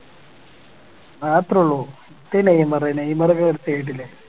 ആഹ് അത് അത്രേ ഒള്ളു എന്ത് നെയ്‌മർ നെയ്‌മർ കേറി